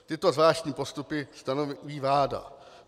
Tyto zvláštní postupy stanoví vláda.